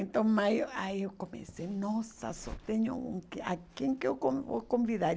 Então mas, aí eu comecei, nossa, só tenho um, a quem que que eu con vou convidar?